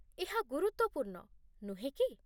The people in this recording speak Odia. ଏହା ଗୁରୁତ୍ୱପୂର୍ଣ୍ଣ, ନୁହେଁ କି?